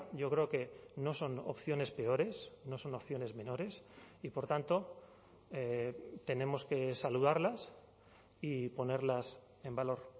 yo creo que no son opciones peores no son opciones menores y por tanto tenemos que saludarlas y ponerlas en valor